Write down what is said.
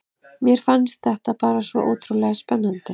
Mér fannst þetta bara svo ótrúlega spennandi.